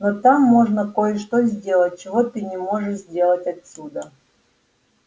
но там можно кое-что сделать чего ты не можешь сделать отсюда